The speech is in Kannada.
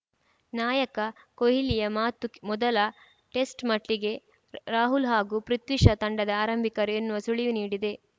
ನಾಯಕ ಕೊಹ್ಲಿಯ ಮಾತು ಮೊದಲ ಟೆಸ್ಟ್‌ ಮಟ್ಟಿಗೆ ರಾಹುಲ್‌ ಹಾಗೂ ಪೃಥ್ವಿ ಶಾ ತಂಡದ ಆರಂಭಿಕರು ಎನ್ನುವ ಸುಳಿವು ನೀಡಿದೆ